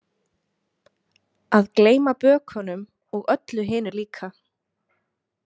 Að gleyma bökunum og öllu hinu líka.